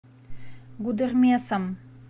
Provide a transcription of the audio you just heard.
гудермесом